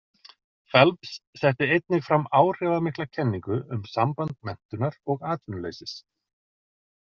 Phelps setti einnig fram áhrifamikla kenningu um samband menntunar og atvinnuleysis.